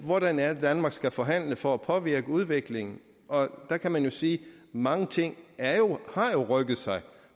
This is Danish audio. hvordan er det danmark skal forhandle for at påvirke udviklingen der kan man jo sige at mange ting har rykket sig